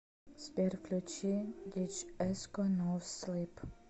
сбер включи диджей эско ноу слип